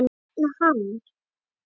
Hvers vegna hann?